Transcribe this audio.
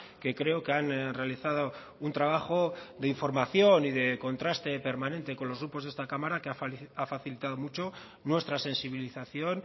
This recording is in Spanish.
que creo que han realizado un trabajo de información y de contraste permanente con los grupos de esta cámara que ha facilitado mucho nuestra sensibilización